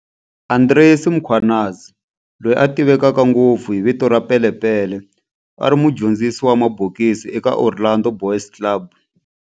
Andries Mkhwanazi, loyi a tiveka ngopfu hi vito ra Pele Pele, a ri mudyondzisi wa mabokisi eka Orlando Boys Club.